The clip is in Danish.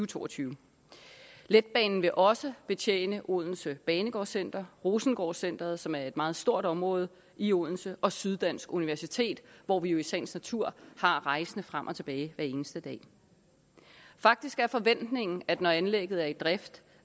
to og tyve letbanen vil også betjene odense banegård center rosengårdcentret som er et meget stort område i odense og syddansk universitet hvor vi jo i sagens natur har rejsende frem og tilbage hver eneste dag faktisk er forventningen at når anlægget er i drift